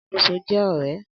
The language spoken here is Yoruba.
Alákóso jẹ ọrẹ